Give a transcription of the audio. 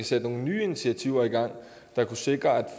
sætte nogle nye initiativer i gang der kunne sikre at